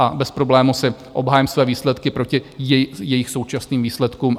A bez problémů si obhájím své výsledky proti jejich současným výsledkům.